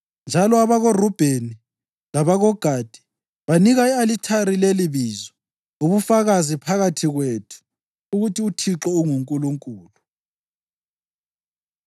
Njalo abakoRubheni labakoGadi banika i-alithari lelibizo: UBufakazi Phakathi Kwethu ukuthi uThixo unguNkulunkulu.